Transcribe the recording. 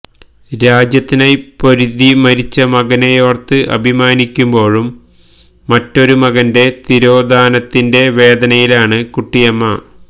രാജ്യത്തിനായി പൊരുതി മരിച്ച മകനെയോര്ത്ത് അഭിമാനിക്കുമ്പോഴും മറ്റൊരു മകന്റെ തിരോധാനത്തിന്റെ വേദനയിലാണ് കുട്ടിയമ്മ